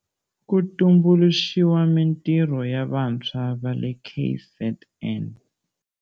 Ku tumbuluxiwa mintirho ya vantshwa va le KZN.